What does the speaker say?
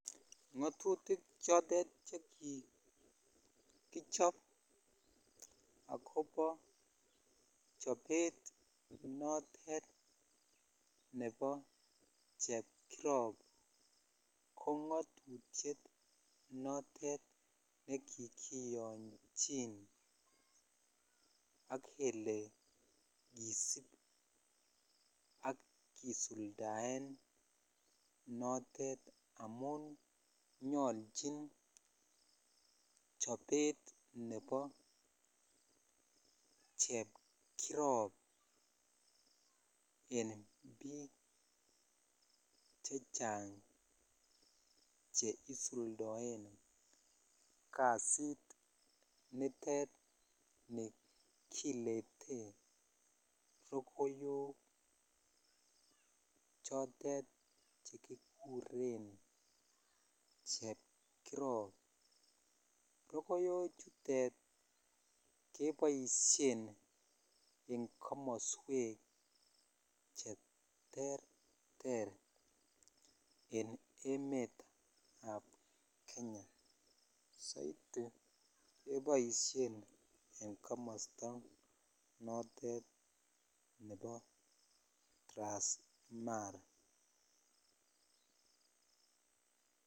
ngotutik choteet chekikichob agobo chobeet notet nebo chepkirob ko ngotutyet notet nekikiyonchin ak kele kisiib ak kisuldaen noteet amuun nyolchin chobeet nebo chepkirob en biik chechang cheisuldoen kasiit niteet nekineteen rokoyook chotet chekiguren chepkirob, rogoyook chutet keboishen en komosweek cheterter en emet ab kenya, soiti keboishen en komosta notet nebo transmara.